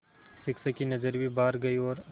शिक्षक की नज़र भी बाहर गई और